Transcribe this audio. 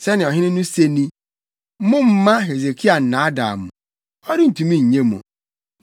Sɛnea ɔhene no se ni: Mommma Hesekia nnaadaa mo. Ɔrentumi nnye mo!